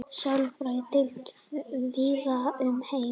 sálfræðideildir víða um heim